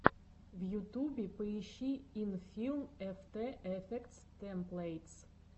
в ютубе поищи инфилм эфтэ эфектс тэмплэйтс